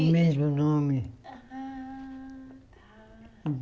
O mesmo nome. Ah tá